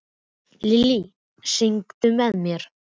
Lilly, syngdu fyrir mig „Reykingar“.